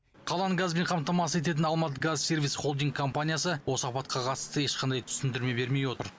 қаланы газбен қамтамасыз ететін алматыгазсервис холдинг компаниясы осы апатқа қатысты ешқандай түсіндірме бермей отыр